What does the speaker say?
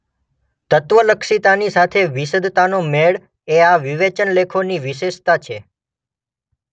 તત્વલક્ષિતાની સાથે વિશદતાનો મેળ એ આ વિવેચનલેખોની વિશેષતા છે.